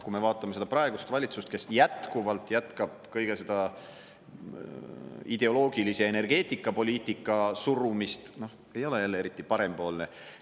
Kui me vaatame seda praegust valitsust, kes jätkuvalt jätkab kõige seda ideoloogilisi energeetikapoliitika surumist: noh, ei ole jälle eriti parempoolne.